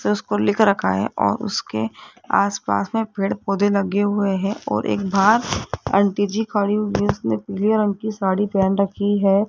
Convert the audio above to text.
लिख रखा है और उसके आसपास में पेड़ पौधे लगे हुए हैं और एक बाहर आंटी जी खड़ी हुई उसने पीले रंग की साड़ी पहन रखी है।